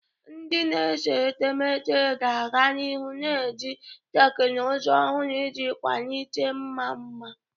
Ndị na-ese etemeete ga-aga n'ihu na-eji teknụzụ ọhụrụ iji kwalite ịma mma.